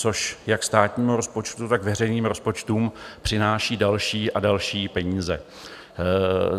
Což jak státnímu rozpočtu, tak veřejným rozpočtům přináší další a další peníze.